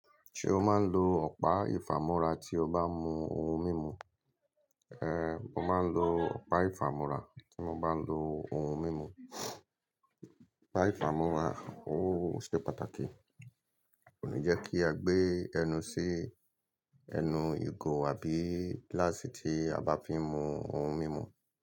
Ṣé o máa ń lo ọ̀pá ìfàmú́ra tí o bá mú ohun mímu? Ehn, mo máa ń lo ọ̀pá ìfàmú́ra tí mo bá ń lo ohun mímu. Ọ̀pá ìfàmú́ra ó ṣe pàtàkì, kò ní jẹ́ kí a gbé ẹnu sí ẹnu ìgò àbí gíláàsì tí a bá fín mú ohun mímu.